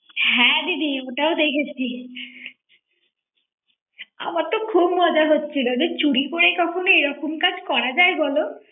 হ্যাঁ দিদি ওটাও দেখেছি। আমার তো খুব মজা হচ্ছিল যে চুরি করে কখনো এরকম কাজ করা যায় বলো